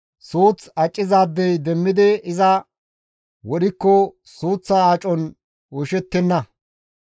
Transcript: suuththa accizaadey demmidi iza wodhikko suuththa acon oyshettenna.